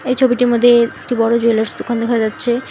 এই ছবিটির মধ্যে একটি বড়ো জুয়েলার্স দোকান দেখা যাচ্ছে।